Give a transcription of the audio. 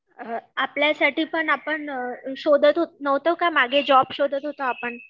अ आपल्यसाठी पण आपण शोधात नव्हतो का मागे जॉब शोधात होतो आपण